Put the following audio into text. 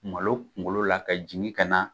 Malo kunkolo la ka jigin kana